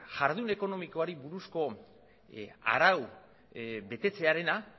jardun ekonomikoari buruzko araua betetzearena